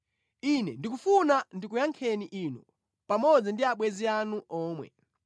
“Ine ndikufuna ndikuyankheni inu pamodzi ndi abwenzi anu omwe.